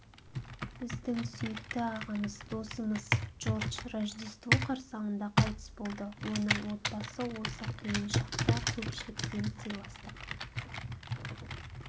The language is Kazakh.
біздің сүйікті ағамыз досымыз джордж рождество қарсаңында қайтыс болды оның отбасы осы қиын шақта көпшіліктен сыйластық